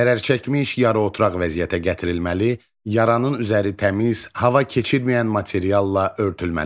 Zərərçəkmiş yarıoturaq vəziyyətə gətirilməli, yaranın üzəri təmiz, hava keçirməyən materialla örtülməlidir.